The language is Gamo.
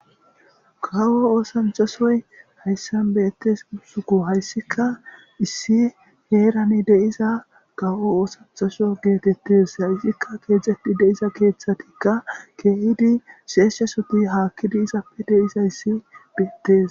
gawo oosancha soyi hayssan beettes gisuko hayssika issi heerani de'iza gawo oosanchaso geetettes hayssikka keexeti de'iza keeththatikka keehidi sheeshshasoti haakkidi izappe de'izays beettes